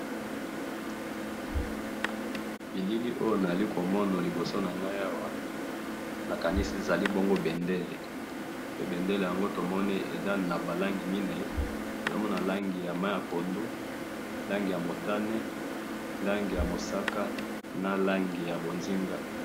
bilili oyo nayo komona liboso na ngai awa na kanisi ezali bongo bendele bendele tomoni eza naba langi mine tozali na langi ya mai ya pondu langi ya motane langi ya mosaka na langi ya bozinga